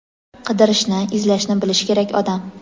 Qidirishni, izlashni bilish kerak odam.